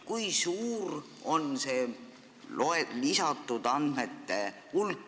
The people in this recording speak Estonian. Kui suur on see lisatud andmete hulk?